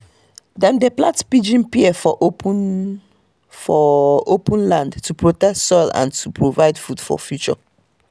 dem dey plant pigeon pea for open for open land to protect soil and to provide food for future